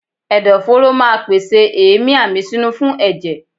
Ẹ̀dọ̀ fóró ma pèsè èémí àmísínú fún ẹ̀jẹ̀.